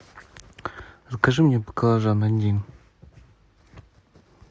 закажи мне баклажан один